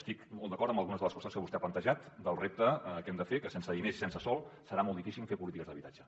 estic molt d’acord amb algunes de les qüestions que vostè ha plantejat del repte que hem de fer que sense diners i sense sòl serà molt difícil fer polítiques d’habitatge